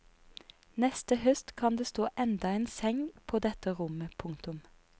Neste høst kan det stå enda en seng på dette rommet. punktum